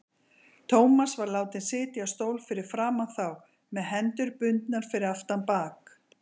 Thomas var látinn sitja á stól fyrir framan þá, með hendur bundnar fyrir aftan bak.